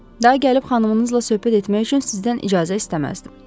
Daha gəlib xanımınızla söhbət etmək üçün sizdən icazə istəməzdim.”